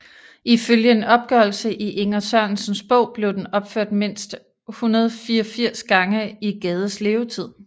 Ifølge en opgørelse i Inger Sørensens bog blev den opført mindst 184 gange i Gades levetid